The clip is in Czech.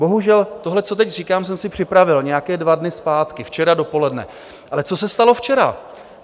Bohužel tohle, co teď říkám, jsem si připravil nějaké dva dny zpátky, včera dopoledne, ale co se stalo včera.